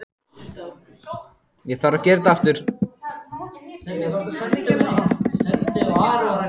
Ekkert skal fara fram hjá mér.